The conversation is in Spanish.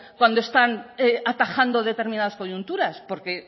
cuando están atajando determinadas coyunturas porque